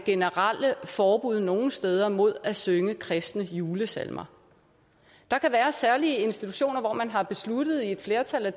generelle forbud nogle steder mod at synge kristne julesalmer der kan være særlige institutioner hvor man har besluttet i et flertal at